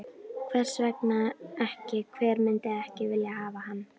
Hvers vegna ekki, hver myndi ekki vilja hafa hann?